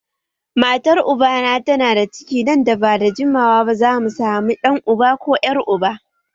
Matar ubana tana da ciki nan ba da jimawa ba za mu sami ɗan uba ko ƴar uba